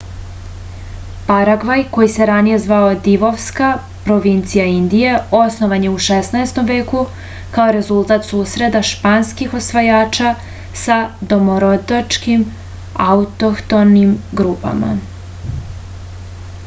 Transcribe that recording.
paragvaj koji se ranije zvao divovska provincija indija osnovan je u 16. veku kao rezultat susreta španskih osvajača sa domorodačkim autohtonim grupama